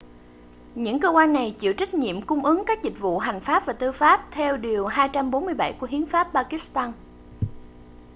những cơ quan này chịu trách nhiệm cung ứng các dịch vụ hành pháp và tư pháp theo điều 247 của hiến pháp pakistan